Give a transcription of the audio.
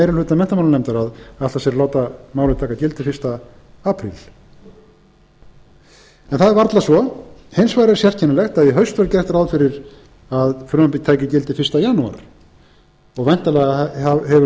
meiri hluta menntamálanefndar að ætla sér að láta málið taka gildi fyrsta apríl en það er varla svo hins vegar er sérkennilegt að í haust var gert ráð fyrir að frumvarpið tæki gildi fyrsta janúar væntanlega hefur